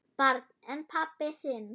Barn: En pabbi þinn?